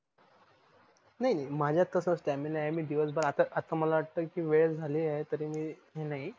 नाही नाही माझ्यात कसा stamina आहे मी दिवसभर आता मला वाटत कि आता वेळ झाली आहे तरी मी नाही